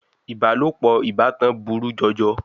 Ìbálòpọ̀ ìbátan burú jọjọ.